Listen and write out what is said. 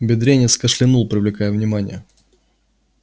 бедренец кашлянул привлекая внимание